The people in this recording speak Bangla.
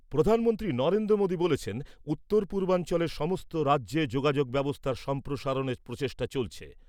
প্রধানমমন্ত্রী নরেন্দ্র মোদী বলেছেন , উত্তরপূর্বাঞ্চলের সমস্ত রাজ্যে যোগাযোগ ব্যবস্থার সম্প্রসারণের প্রচেষ্টা চলছে ।